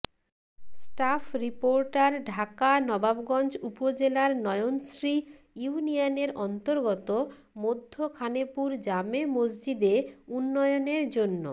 staff reporter Dhaka Nawabganj উপজেলার নয়নশ্রী ইউনিয়নের অন্তর্গত মধ্য খানেপুর জামে মসজিদে উন্নয়নের জন্য